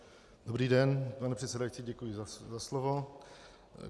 Dobrý den, pane předsedající, děkuji za slovo.